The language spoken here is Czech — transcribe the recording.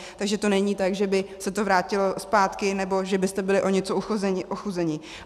Takže to není tak, že by se to vrátilo zpátky nebo že byste byli o něco ochuzeni.